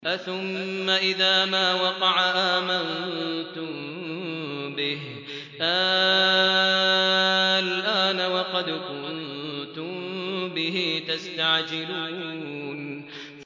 أَثُمَّ إِذَا مَا وَقَعَ آمَنتُم بِهِ ۚ آلْآنَ وَقَدْ كُنتُم بِهِ تَسْتَعْجِلُونَ